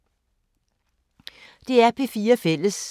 DR P4 Fælles